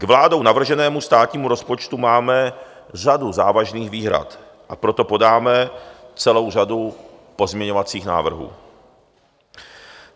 K vládou navrženému státnímu rozpočtu máme řadu závažných výhrad, a proto podáme celou řadu pozměňovacích návrhů.